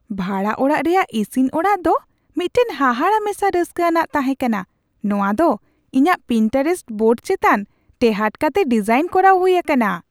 ᱵᱷᱟᱲᱟ ᱚᱲᱟᱜ ᱨᱮᱭᱟᱜ ᱤᱥᱤᱱ ᱚᱲᱟᱜ ᱫᱚ ᱢᱤᱫᱴᱟᱝ ᱦᱟᱦᱟᱲᱟ ᱢᱮᱥᱟ ᱨᱟᱹᱥᱠᱟᱹᱼ ᱟᱱᱟᱜ ᱛᱟᱦᱮᱸ ᱠᱟᱱᱟ ᱼ ᱱᱚᱶᱟ ᱫᱚ ᱤᱧᱟᱹᱜ ᱯᱤᱱᱴᱟᱨᱮᱥᱴ ᱵᱳᱨᱰ ᱪᱮᱛᱟᱱ ᱴᱮᱦᱟᱴ ᱠᱟᱛᱮ ᱰᱤᱡᱟᱭᱤᱱ ᱠᱚᱨᱟᱣ ᱦᱩᱭ ᱟᱠᱟᱱᱟ !"᱾